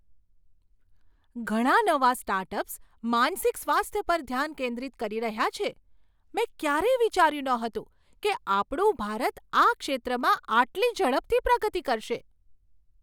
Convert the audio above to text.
ઘણા નવા સ્ટાર્ટઅપ્સ માનસિક સ્વાસ્થ્ય પર ધ્યાન કેન્દ્રિત કરી રહ્યા છે! મેં ક્યારેય વિચાર્યું નહોતું કે આપણું ભારત આ ક્ષેત્રમાં આટલી ઝડપથી પ્રગતિ કરશે.